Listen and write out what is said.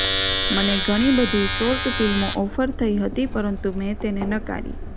મને ઘણી બધી શોર્ટ ફિલ્મો ઓફર થઈ હતી પરંતુ મેં તેને નકારી